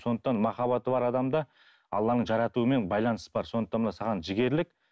сондықтан махаббаты бар адамда алланың жаратуымен байланыс бар сондықтан мына саған жігерлік